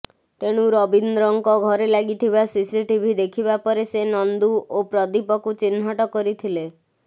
ତେଣୁ ରବୀନ୍ଦ୍ରଙ୍କ ଘରେ ଲାଗିଥିବା ସିସିଟିଭି ଦେଖିବା ପରେ ସେ ନନ୍ଦୁ ଓ ପ୍ରଦୀପକୁ ଚିହ୍ନଟ କରିଥିଲେ